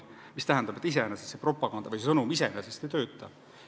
Nii et iseenesest mingi propaganda või sõnum ei pruugi töötada.